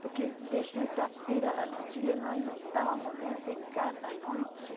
Porque de sexta-feira lá no Chile, nós não estávamos nunca em casa à noite.